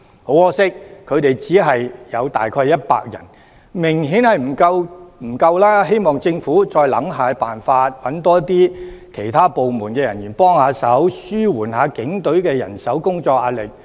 很可惜，他們只有大約100人，明顯不足夠，希望政府再想想辦法，多找其他部門人員幫忙，紓緩一下警隊的人手及工作壓力。